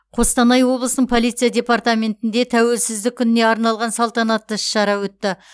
қостанай облысының полиция департаментінде тәуелсіздік күніне арналған салтанатты іс шара өтті